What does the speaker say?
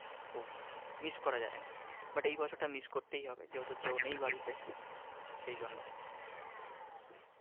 miss করা যায় না but এই বছরটা miss করতেই হবে যেহেতু কেউ নেই বাড়িতে সেইজন্য।